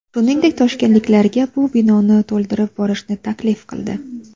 Shungdek, toshkentliklarga bu binoni to‘ldirib borishni taklif qildi.